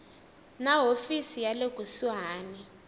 na hofisi ya le kusuhani